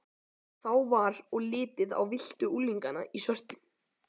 Þá var og litið á villtu unglingana í svörtu